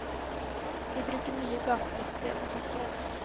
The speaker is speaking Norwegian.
Vi bruker mye gatelykter og hardt lys.